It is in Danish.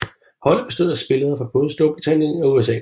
Holdet bestod af spillere fra både Storbritannien og USA